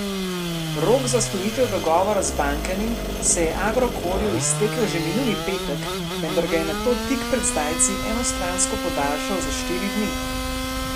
Rok za sklenitev dogovora z bankami se je Agrokorju iztekel že minuli petek, vendar ga je nato tik pred zdajci enostransko podaljšal za štiri dni.